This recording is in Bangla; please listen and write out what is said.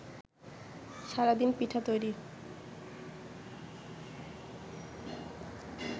সারাদিন পিঠা তৈরি